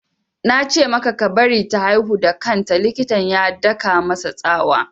Na ce maka ka bari ta haihu da kan ta! Likitan ya daka masa tsawa